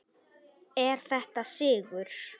Er þetta sigur?